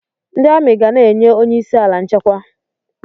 Ndị amị ga na-enye onyeisi ala nchekwa.